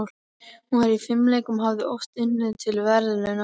Hún var í fimleikum og hafði oft unnið til verðlauna.